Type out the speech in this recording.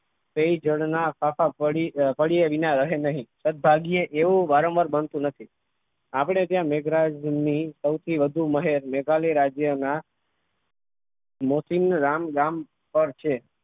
તે જળના સાફા પડ્યા વિના રહે નહીં સદભાગ્ય એવું વારંવાર બનતું નથી આપણે ત્યાં મેઘરાજની સૌથી વધુ મહેર મેઘાલય રાજ્યના મોસીમ રામ નામ પર છે.